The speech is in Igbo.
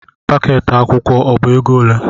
Pakeeti akwụkwọ ọ bụ ego ole?